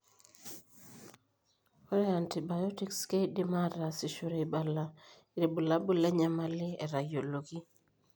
Ore iantibiotics keidimi aataasishore eibala irbulabul lenyamali etayioloki.